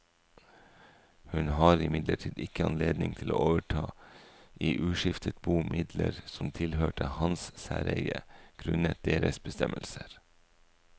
Hun har imidlertid ikke anledning til å overta i uskiftet bo midler som tilhørte hans særeie grunnet deres bestemmelser.